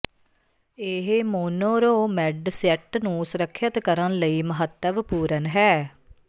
ਇਹ ਮੋਨੋਰੋਮੈੱਡ ਸੈੱਟ ਨੂੰ ਸੁਰੱਖਿਅਤ ਕਰਨ ਲਈ ਮਹੱਤਵਪੂਰਨ ਹੈ